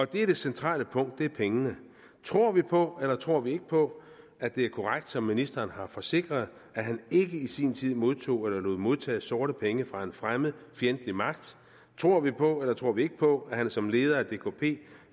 det er det centrale punkt pengene tror vi på eller tror vi ikke på at det er korrekt som ministeren har forsikret at han ikke i sin tid modtog eller lod modtage sorte penge fra en fremmed fjendtlig magt tror vi på eller tror vi ikke på at han som leder af dkp